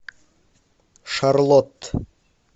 шарлотт